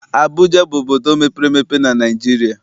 Abụja bụ obodo mepere emepe na Naịjirịa.